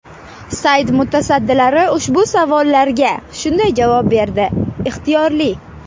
Sayt mutasaddilari ushbu savollarga shunday javob berdi: Ixtiyorli.